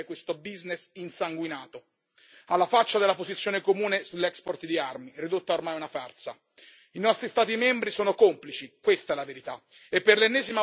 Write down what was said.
Le foto del Premier Gentiloni a Riad testimoniamo sin troppo bene l'impegno a sostenere questo business insanguinato, alla faccia della posizione comune sull'export di armi, ridotta ormai a una farsa.